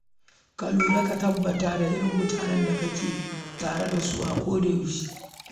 Ka tabbata ka lura da irin mutanen da kake tare da su a kodayaushe.